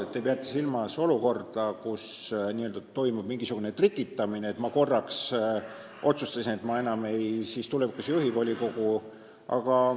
Te peate silmas olukorda, kus toimub mingisugune n-ö trikitamine, et ma korraks otsustasin, et ma enam siis tulevikus ei juhi volikogu.